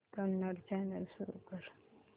Kannada channel सुरू कर